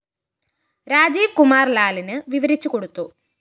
രാജീവ് കുമാര്‍ ലാലിന് വിവരിച്ചുകൊടുത്തു